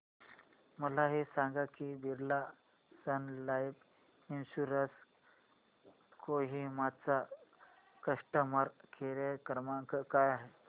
मला हे सांग की Birla Sun Life Insurance Kohima चा कस्टमर केअर क्रमांक काय आहे